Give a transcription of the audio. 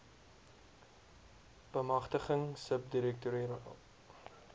bemagtiging sub direktoraat